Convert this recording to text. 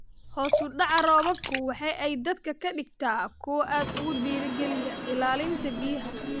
Hoos u dhaca roobabku waxa ay dadka ka dhigtaa kuwo aad ugu dhiirigeliya ilaalinta biyaha.